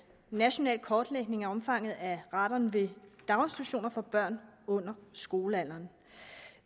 national kortlægning af omfanget af radon ved daginstitutioner for børn under skolealderen